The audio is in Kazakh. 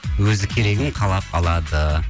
өзі керегін қалап алады